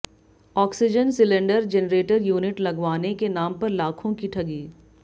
oxygen cylinder generator unit लगवाने के नाम पर लाखों की ठगी